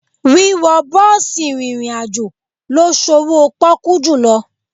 Wíwọ bọ́ọ̀sì rìnrìn àjò ló sowó pọ́kú jùlọ.